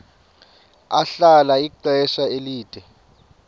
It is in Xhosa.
ahlala ixesha elide